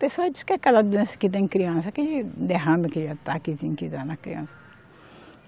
Pessoal diz que é aquela doença que dá em criança, aquele derrame, aquele ataquezinho que dá na criança.